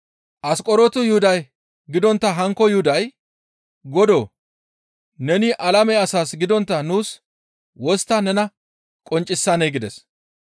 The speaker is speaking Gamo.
Asqoronto Yuhuda gidontta hankko Yuhuday, «Godoo! Neni alame asaas gidontta nuus wostta nena qonccisanee?» gides.